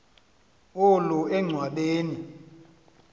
olu enchwa beni